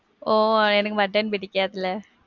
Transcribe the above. ஒ, எனக்கு mutton பிடிக்காதுல.